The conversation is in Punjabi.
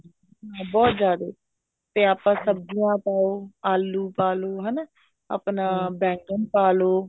ਹਾਂ ਬਹੁਤ ਜਿਆਦੇ ਤੇ ਆਪਾਂ ਸਬਜੀਆਂ ਤਾਂ ਆਲੂ ਪਾਲੋ ਹਨਾ ਆਪਣਾ ਬੈਂਗਣ ਪਾਲੋ